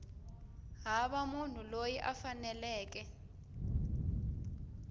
hava munhu loyi a faneleke